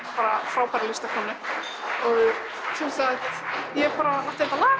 frábæru listakonu og sem sagt ég átti þetta lag